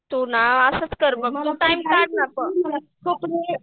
तू ना असंच कर तू टाईम काढ ना गं